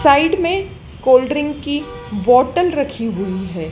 Side में cold drink की bottle रखी हुई है।